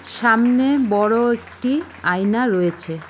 সামনে বড় একটি আয়না রয়েছে।